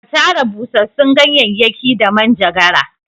Ka tara busassun ganyayyakin da manjagara!